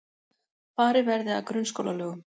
Farið verði að grunnskólalögum